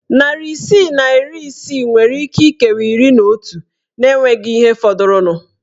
Narị isii na iri isii nwere íké ikewa iri na otu na enweghị ihe fọdụrụnụ.